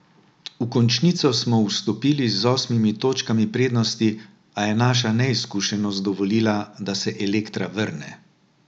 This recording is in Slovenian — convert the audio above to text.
V končnico smo vstopili z osmimi točkami prednosti, a je naša neizkušenost dovolila, da se Elektra vrne.